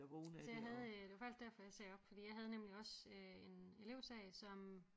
Så jeg havde øh det var faktisk derfor jeg sagde op fordi jeg havde nemlig også øh en elevsag som